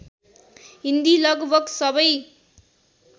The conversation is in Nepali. हिन्दी लगभग सबै